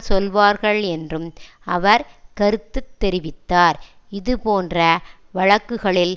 சொல்வார்கள் என்றும் அவர் கருத்து தெரிவித்தார் இது போன்ற வழக்குகளில்